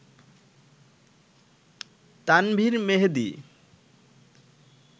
Tanvir Mehedi